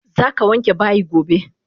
Zaka wanke bayi gobe!